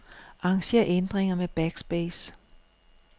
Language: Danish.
Arranger ændringer med backspace.